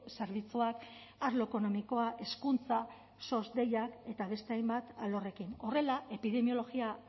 zerbitzuak arlo ekonomikoa hezkuntza sos deiak eta beste hainbat alorrekin horrela epidemiologiako